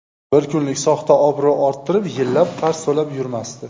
Bir kunlik soxta obro‘ orttirib, yillab qarz to‘lab yurmasdi.